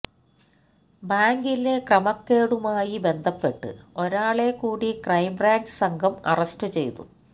ബാങ്കിലെ ക്രമക്കേടുമായി ബന്ധപ്പെട്ട് ഒരാളെ കൂടി ക്രൈംബ്രാഞ്ച്സംഘം അറസ്റ്റു ചെയ്തു